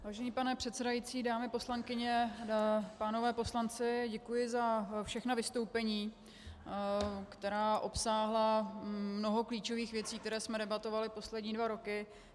Vážený pane předsedající, dámy poslankyně, páni poslanci, děkuji za všechna vystoupení, která obsáhla mnoho klíčových věcí, které jsme debatovali poslední dva roky.